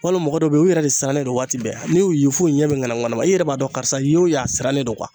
Walima mɔgɔ dɔ be yen u yɛrɛ de siranlen don waati bɛɛ n'i y'u ye f'u ɲɛ bɛ ŋanama ŋanama i yɛrɛ b'a dɔn karisa ye o ye a sirannen don